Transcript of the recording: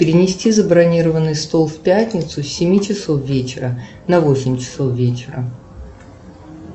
перенести забронированный стол в пятницу с семи часов вечера на восемь часов вечера